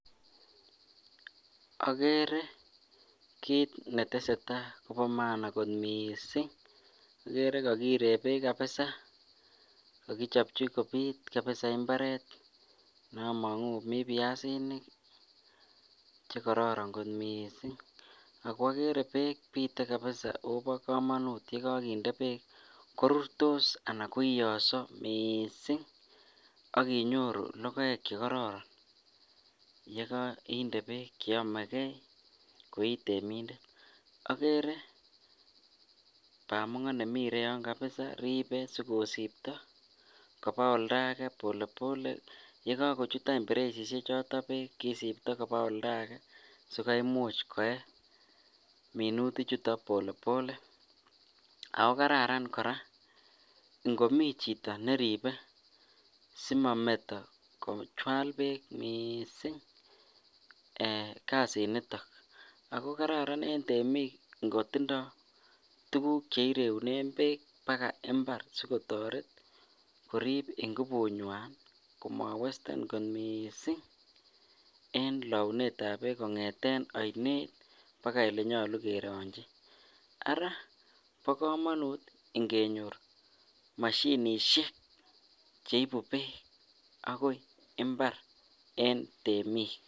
Okere kiit netesetaa kobo maana kot mising, okere kokiree beek kabisaa, kokichopchi kobiit kabisaa imbaret nemongu komii biasinik chekororon kot mising, ak ko okere beek bitee kabisa akobo komonut yekokinde beek korurtos anan koioso mising ak inyoru lokoek chekororon yekoinde beek cheyomekee koii temindet, okere bamongo nemii Oregon kabisaa ribee sikosipto kobaa oldake pole pole, yekokochut any bereisishe choto beek kisipto kobaa oldake sikomuch koyee minuti chuton pole pole ak ko kararan kora ng'omii chito neribe simometo Micheal beek mising kasiniton, ak ko kararan en temiik ngotindo tukuk chereunen beek bakai imbar sikotoret koriib ingubunywan komowesten kot mising en lounetab beek kong'eten oinet bakai olenyolu kerongyi, araa bokomonut ingenyor mashinishek cheibu beek akoi imbar en temiik.